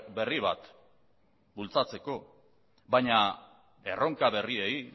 berri bat bultzatzeko baina erronka berrioi